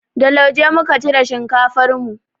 Da lauje muka cire shinkafar mu.